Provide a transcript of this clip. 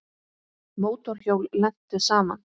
Mótorhjól lentu saman